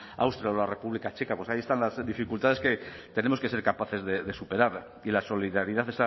austria o la república checa pues ahí están las dificultades que tenemos que ser capaces de superar y la solidaridad